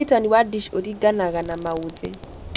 Ũrigitani wa DISH ũringanaga na maũthĩ